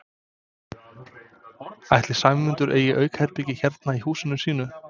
Ætli Sæmundur eigi aukaherbergi hérna í húsinu sínu?